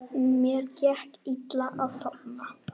Mér gekk illa að sofna.